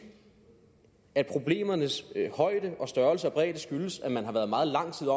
at problemernes højde og størrelse og bredde skyldes at man har været meget lang tid